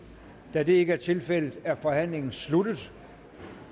da det ikke er tilfældet er forhandlingen sluttet